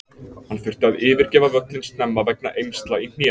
Hann þurfti að yfirgefa völlinn snemma vegna eymsla í hné.